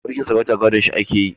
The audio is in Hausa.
Mulkin sarauta gadon shi ake yi